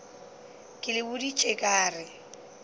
ke le boditše ka re